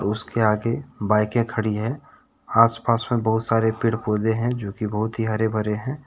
उसके आगे बाइके खड़ी हैं आसपास में बहुत सारे पेड़ पौधे हैं जोकि बहुत ही हरे भरे हैं।